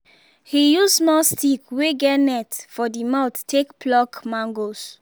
he use small stick wey get net for the mouth take pluck mangoes